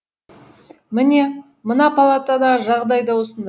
міне мына палатадағы жағдай да осында